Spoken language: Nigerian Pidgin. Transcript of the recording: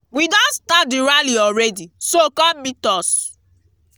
we don start the rally already so come meet us